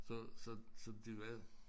Så så så de var